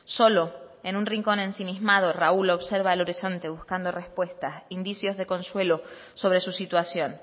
solo en un rincón ensimismado raúl observa el horizonte buscando respuestas indicios de consuelo sobre su situación